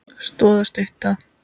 Stoð og stytta.